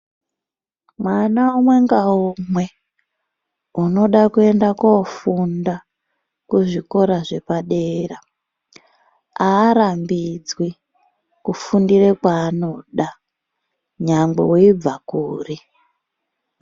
Mwana umwe ngaumwe unoda kuenda kofunda kuzvikora zvepadera, harambidzwi kufundira kwaanoda nyangwe veibva kuri.